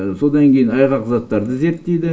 содан кейін айғақ заттарды зерттейді